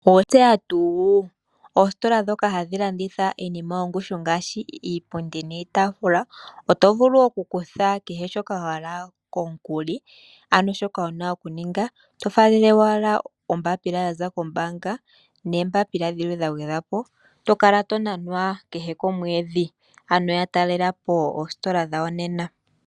Owatseya tuuu? Oositola dhoka hadhi landitha iinima yongushu ngaashi iipundi niitaafula oto vulu oku kutha kehe shoka wa hala komukuli, ano shoka wuna oku ninga oto faalele owala ombapila ya za kombaanga neembapila dhilwe dha gwedhwapo tokala to nanwa kehe komwedhi, ano talelapo oositola dhayo nena.